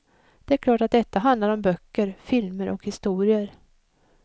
Det är klart att detta handlar om böcker, filmer och historier.